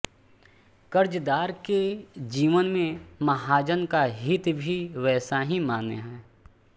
कर्जदार के जीवन में महाजन का हित भी वैसा ही मान्य है